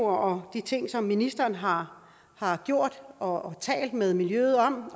og de ting som ministeren har har gjort og talt med miljøet om